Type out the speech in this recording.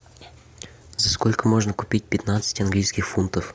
за сколько можно купить пятнадцать английских фунтов